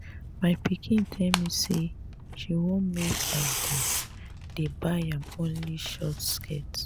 my pikin tell me say she wan make i dey dey buy am only short skirt